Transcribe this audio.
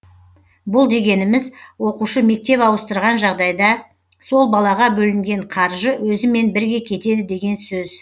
бұл дегеніміз оқушы мектеп ауыстырған жағдайда сол балаға бөлінген қаржы өзімен бірге кетеді деген сөз